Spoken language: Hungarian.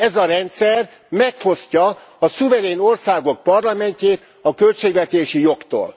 Ez a rendszer megfosztja a szuverén országok parlamentjét a költségvetési jogtól.